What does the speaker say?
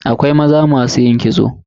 Akwai maza masu yin kitso.